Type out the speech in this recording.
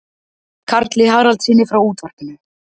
Karli Haraldssyni frá útvarpinu.